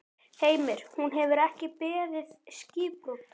Heimir: Hún hefur ekki beðið skipbrot?